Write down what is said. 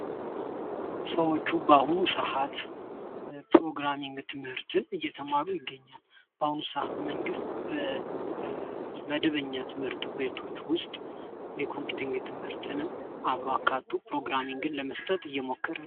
ሰዎች በአሁኑ ሰዓት ፕሮግራሚንግ ትምህርትን እየተማሩ ይገኛሉ። በአሁኑ ሰዓት መንግስት በመደበኛ ትምህርት ቤቶች ውስጥ የኮምፒዩተንግ ትምህርትን አብሮ አካቶ ፕሮግራሚንግል ለመስጠት እየሞከረ ነው።